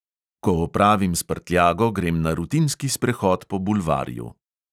Ko opravim s prtljago, grem na rutinski sprehod po bulvarju.